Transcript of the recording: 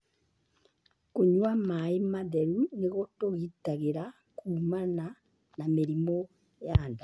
Kũnyua maĩ matheru nĩ gũtũgitagĩra kuumana na mĩrimũ ya nda.